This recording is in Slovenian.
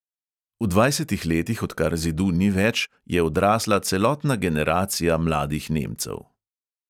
V dvajsetih letih, odkar zidu ni več, je odrasla celotna generacija mladih nemcev.